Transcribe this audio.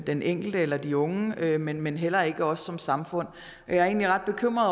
den enkelte eller de unge men men heller ikke os som samfund jeg er egentlig ret bekymret